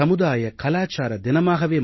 சமுதாய கலாச்சார தினமாகவே